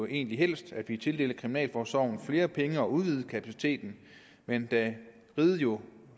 egentlig helst at vi tildelte kriminalforsorgen flere penge og udvidede kapaciteten men da riget jo